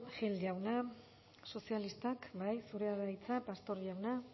gil jauna sozialistak bai zurea da hitza pastor jauna